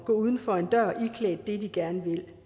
gå uden for en dør iklædt det de gerne vil